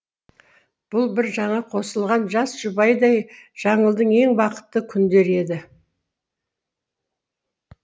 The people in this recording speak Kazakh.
бұл бір жаңа қосылған жас жұбайдай жаңылдың ең бақытты күндері еді